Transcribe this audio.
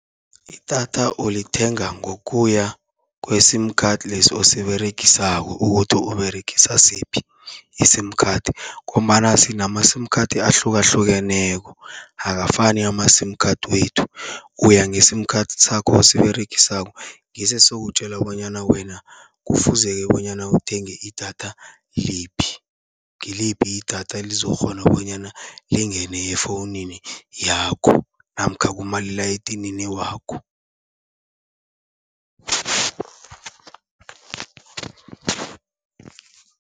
Idatha ulithenga ngokuya kwe-sim card lesi osiberegisako, ukuthi uberegisa siphi i-sim card. Ngombana sinama-sim card ahlukahlukeneko, akafani ama-sim card wethu. Uya nge-sim card sakho osiberegisako ngiso esizokutjela bonyana wena kufuze-ke bonyana uthenge idatha liphi. Ngiliphi idatha elizokukghona bonyana lingene efowunini yakho namkha kumalila edinini wakho.